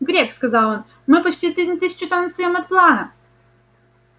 грег сказал он мы почти на тысячу тонн отстаём от плана